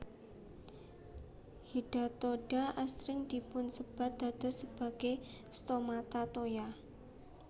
Hidatoda asring dipunsébat dados sebagai stomata toya